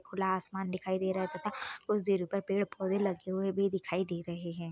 खुला आसमान दिखाई दे रहा है तथा कुछ दूरी पर पेड़-पौधे लगे हुए भी दिखाई दे रहे हैं।